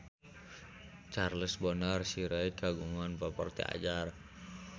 Charles Bonar Sirait kagungan properti anyar